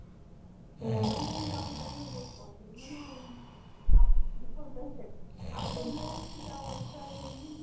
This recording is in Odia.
ସେଟା ମୁଁ young time ରେ ବହୁତ କରୁଥିଲି ମାନେ